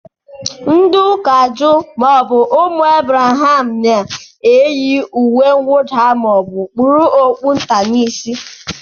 Ndị ụka juu maọbụ ụmụ Abraham na-eyi uwemwụda ma kpurukwa okpu nta n'isi